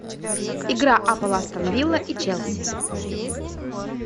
игра апл астон вилла и челси